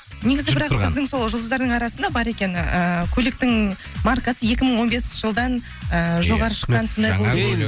негізі бірақ біздің сол жұлдыздардың арасында бар екен ыыы көліктің маркасы екі мың он бесінші жылдан ыыы жоғары шыққан